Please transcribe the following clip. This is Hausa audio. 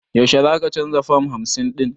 Yaushe za ka canza fam hamsin ɗin?